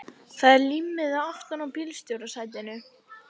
Það er límmiði aftan á bílstjórasætinu.